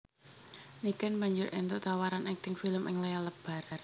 Niken banjur éntuk tawaran akting film ing layar lebar